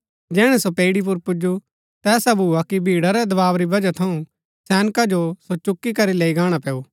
जैहणै सो पैईड़ी पुर पुजु ता ऐसा भुआ कि भीड़ा रै दवाव री वजह थऊँ सैनका जो सो चुकी करी लैई गाणा पैऊ